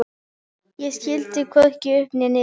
Ég skildi hvorki upp né niður.